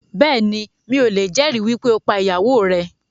Bẹ́ẹ̀ni, mi ò lè jẹ̀ ẹ̀rí wípé ó pá ìyàwó rẹ̀